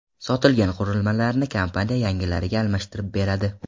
Sotilgan qurilmalarni kompaniya yangilariga almashtirib beradi.